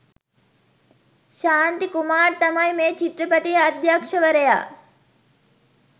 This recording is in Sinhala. ශාන්ති කුමාර් තමයි මේ චිත්‍රපටියේ අධ්‍යක්‍ෂවරයා.